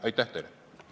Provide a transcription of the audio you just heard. Aitäh teile!